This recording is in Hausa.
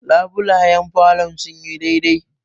labulayen falon sun yi dai dai